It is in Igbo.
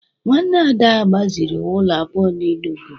Nwanne Ada gbaziri ụlọ abụọ n’Enugwu